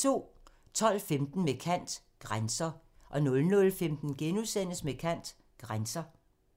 12:15: Med kant – Grænser 00:15: Med kant – Grænser *